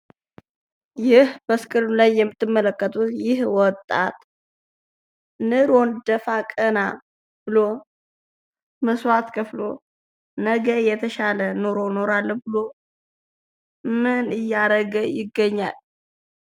በስክሪኑ ላይ የምትመለከቱት ይህ ወጣት ኑሮን ደፋ ቀና ብሎ መስዋዕት ከፍሎ ነገን የተሻለ ኑሮ እኖራለሁ ብሎ ምን እያደረገ ይገኛል?